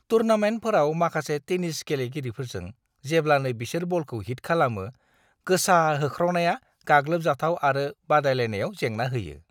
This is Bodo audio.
टूर्नामेन्टफोराव माखासे टेनिस गेलेगिरिफोरजों जेब्लानो बिसोर बलखौ हिट खालामो, गोसा होख्रावनाया गाग्लोबजाथाव आरो बादायलायनायाव जेंना होयो।